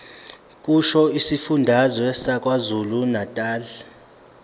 kusho isifundazwe sakwazulunatali